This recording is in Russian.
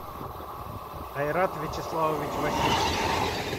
айрат вячеславович васильев